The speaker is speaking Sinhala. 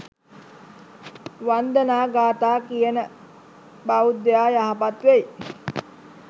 වන්දනා ගාථා කියන බෞද්ධයා යහපත් වෙයි